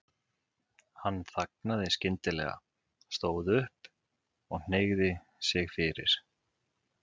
Hann þagnaði skyndilega, stóð upp og hneigði sig fyrir